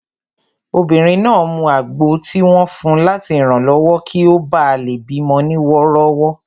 Obìnrin náà mu àgbo tí wọ́n fun láti ranlọwọ kí ó bá lè bí mọ ní wọ́rọ́wọ́